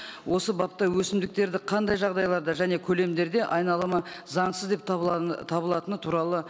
осы бапта өсімдіктерді қандай жағдайларда және көлемдерде айналымы заңсыз деп табылатыны туралы